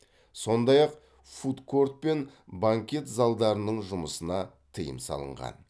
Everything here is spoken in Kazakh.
сондай ақ фудкорт пен банкет залдарының жұмысына тыйым салынған